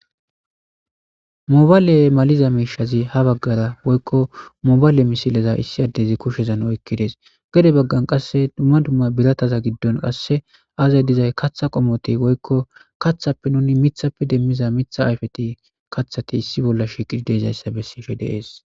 Mobaayle maliza miishazi ha baggara woykko mobayle misileza issi addezi kushezan oykkides gede baggan qasse dumma dumma birataza giddon qasse aazay dizay katha qomote woykko kathappe nuni mithappe demmiza mitha ayfeti kathati issi bolla shiqidi deezayssa bessife deees.